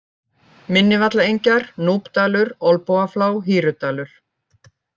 Minnivallaengjar, Núpdalur, Olnbogaflá, Hýrudalur